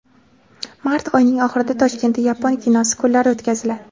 Mart oyining oxirida Toshkentda yapon kinosi kunlari o‘tkaziladi.